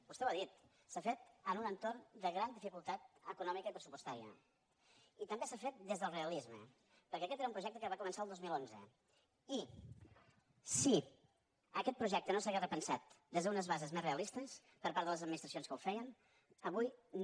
vostè ho ha dit s’ha fet en un entorn de gran dificultat econòmica i pressupostària i també s’ha fet des del realisme perquè aquest era un projecte que va començar el dos mil onze i si aquest projecte no s’hagués repensat des d’unes bases més realistes per part de les administracions que ho feien avui no